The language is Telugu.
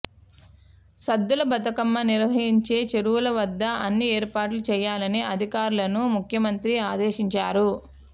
సద్దుల బతుకమ్మ నిర్వహిం చే చెరువుల వద్ద అన్ని ఏర్పాట్లు చేయాలని అధికారులను ముఖ్యమంత్రి ఆదేశించారు